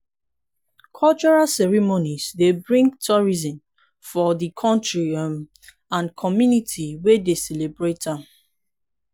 cultural ceremonies dey bring tourism for di country um and community wey dey celebrate am.